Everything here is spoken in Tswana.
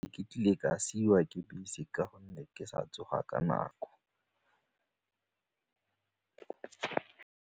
Ke kile ka siiwa ke bese ka gonne ke sa tsoga ka nako.